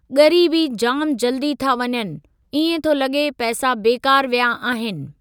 ॻरी बि जाम जल्दी था वञनि इएं थो लॻे पैसा बेकार विया आहिनि।